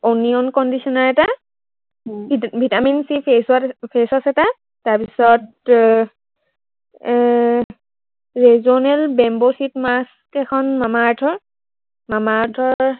onion conditioner এটা, vitamin C face wash, face wash এটা, তাৰপিছত এৰ এৰ regional bamboo sheet mask এখন মামা আৰ্থৰ, মামা আৰ্থৰ